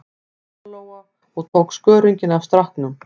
Lóa-Lóa og tók skörunginn af stráknum.